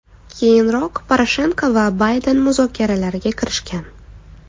Keyinroq, Poroshenko va Bayden muzokaralarga kirishgan.